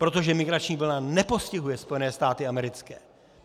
Protože migrační vlna nepostihuje Spojené státy americké.